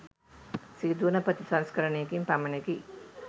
සිදුවන ප්‍රතිසංස්කරණයකින් පමණකි.